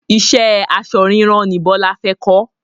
Ìṣe aṣọ ríran ni Bọlá fẹ kọ́